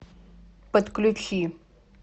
подключи